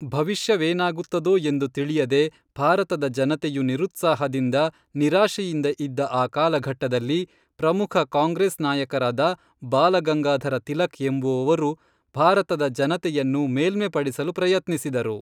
ಭವಿಷ್ಯವೇನಾಗುತ್ತದೋ ಎಂದು ತಿಳಿಯದೆ ಭಾರತದ ಜನತೆಯು ನಿರುತ್ಸಾಹದಿಂದ ನಿರಾಶೆಯಿಂದ ಇದ್ದ ಆ ಕಾಲಘಟ್ಟದಲ್ಲಿ ಪ್ರಮುಖ ಕಾಂಗ್ರೇಸ್‌ ನಾಯಕರಾದ ಬಾಲಗಂಗಾಧರ ತಿಲಕ್‌ ಎಂಬುವವರು ಭಾರತದ ಜನತೆಯನ್ನು ಮೇಲ್ಮೆ ಪಡಿಸಲು ಪ್ರಯತ್ನಿಸಿದರು